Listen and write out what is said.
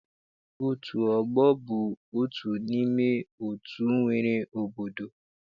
Otu ọgbọ bụ otu n'ime otu e nwere n'obodo.